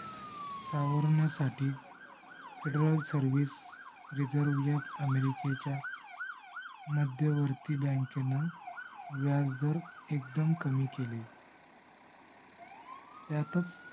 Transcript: सावरण्यासाठी fedaral service reserve app america च्या मध्यवर्ती bank ने व्याजदर एकदम कमी केले. यातच